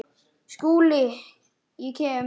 SKÚLI: Ég kem.